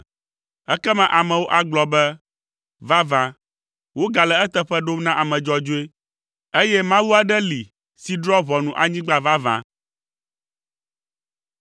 Ekema amewo agblɔ be, “Vavã, wogale eteƒe ɖom na ame dzɔdzɔe, eye Mawu aɖe li si drɔ̃a ʋɔnu anyigba vavã.”